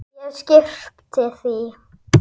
Ég skyrpti því.